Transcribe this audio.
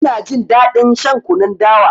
Ina jin daɗin shan kunun dawa.